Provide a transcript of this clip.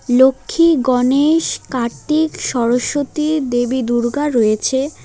লক্ষ্মী গণেশ কার্তিক সরস্বতী দেবী দুর্গা রয়েছে।